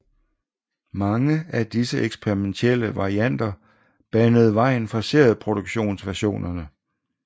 Mange af disse eksperimentelle varianter banede vejen for serieproduktionsversionerne